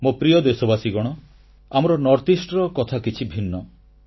ମୋ ପ୍ରିୟ ଦେଶବାସୀଗଣ ଆମର ଉତ୍ତରପୂର୍ବାଞ୍ଚଳ କଥା କିଛି ଭିନ୍ନ